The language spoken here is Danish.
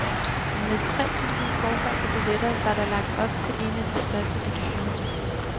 Med tre tusind forsolgte billetter var der lagt op til en af de største begivenheder.